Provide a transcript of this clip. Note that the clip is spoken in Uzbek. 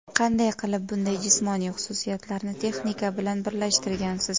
Qanday qilib bunday jismoniy xususiyatlarni texnika bilan birlashtirgansiz?